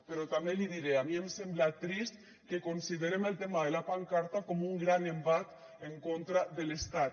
però també li diré a mi em sembla trist que considerem el tema de la pancarta com un gran embat en contra de l’estat